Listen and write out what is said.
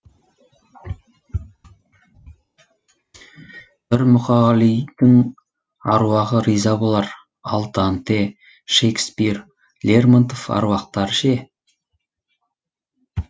бір мұқағалидың аруағы риза болар ал данте шекспир лермонтов аруақтары ше